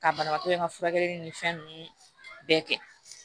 Ka banabaatɔ in ka furakɛli ni fɛn ninnu bɛɛ kɛ